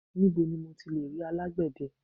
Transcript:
Níbo ni mo ti lè rí alágbè de?